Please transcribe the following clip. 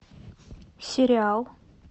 сериал